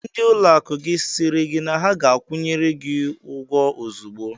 Ndị ụlọakụ gị sịrị na ha ga-akwụnyere gị ụgwọ ozugbo?